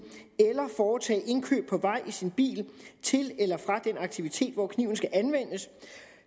eller foretage indkøb på vej i sin bil til eller fra den aktivitet hvor kniven skal anvendes